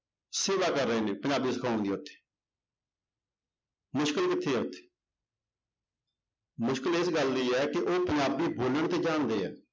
ਸੇਵਾ ਕਰ ਰਹੇ ਨੇ ਪੰਜਾਬੀ ਸਿਖਾਉਣ ਦੀ ਉੱਥੇ ਮੁਸ਼ਕਲ ਕਿੱਥੇ ਆ ਮੁਸ਼ਕਲ ਇਸ ਗੱਲ ਦੀ ਹੈ ਕਿ ਉਹ ਪੰਜਾਬੀ ਬੋਲਣ ਤੇ ਜਾਣਦੇ ਹੈ।